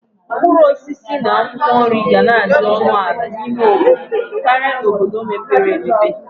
Mkpuruosisi na akwokwo nri gana adi onu ala n'ime obodo Kari n"obodo mepere emepe.